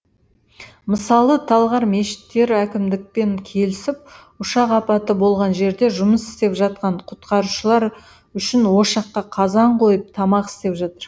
мысалы талғар мешіттері әкімдікпен келісіп ұшақ апаты болған жерде жұмыс істеп жатқан құтқарушылар үшін ошаққа қазан қойып тамақ істеп жатыр